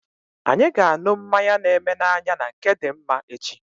Anyị ga anụ mmanya na eme na anya na nke Dimma echi